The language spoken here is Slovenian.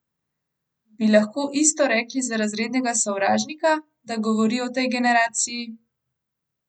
Bi lahko isto rekli za Razrednega sovražnika, da govori o tej generaciji?